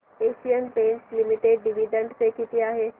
Asian Paints Limited dividend pay किती आहे